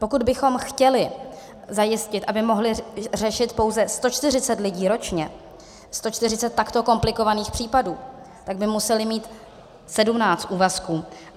Pokud bychom chtěli zajistit, aby mohli řešit pouze 140 lidí ročně, 140 takto komplikovaných případů, tak by museli mít 17 úvazků.